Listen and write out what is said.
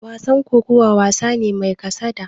Wasan kokawa, wasa ne mai kasada.